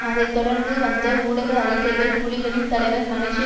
அதை தொடர்ந்து வந்த ஊடக அறிக்கைகள் புலிகளின் தலைவர் மலேசிய